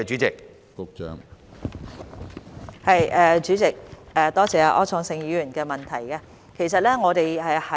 主席，多謝柯創盛議員的補充質詢。